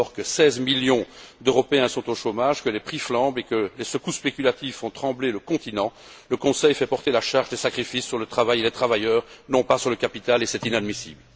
Alors que 16 millions d'Européens sont au chômage, que les prix flambent et que les secousses spéculatives font trembler le continent, le Conseil fait porter la charge des sacrifices sur le travail et les travailleurs, non pas sur le capital, et c'est inadmissible.